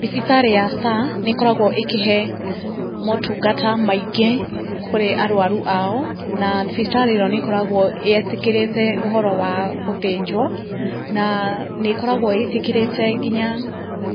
Thibitarĩ ya Star nĩ ĩkoragwo ĩkĩhe motungata maingĩ kũrĩ arwaru ao, na thibitarĩ ĩno nĩ ĩkoragwo ĩtĩkĩrĩte ũhoro wa gũthĩnjwo, na nĩ ĩkoragwo ĩtĩkĩrĩte nginya